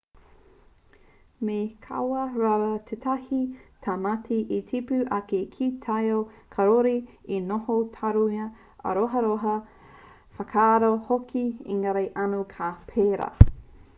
me kaua rawa tētahi tamaiti e tipu ake ki te taiao kāore i te noho taurima āroharoha whakaako hoki engari anō ka pērā